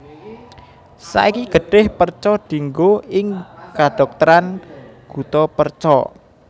Saiki getih perca dienggo ing kedhokteran guttapercha